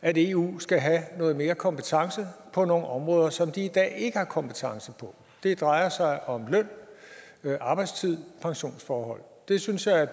at eu skal have noget mere kompetence på nogle områder som de i dag ikke har kompetence på det drejer sig om løn arbejdstid og pensionsforhold jeg synes at